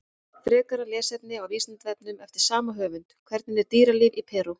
Frekara lesefni á Vísindavefnum eftir sama höfund: Hvernig er dýralíf í Perú?